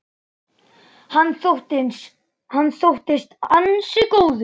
Hann þóttist ansi góður.